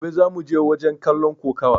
Gobe zamuje wajen kallon kokuwa!